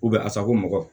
asako mɔgɔ